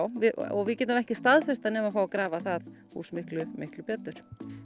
og við getum ekki staðfest það nema fá að grafa það hús miklu miklu betur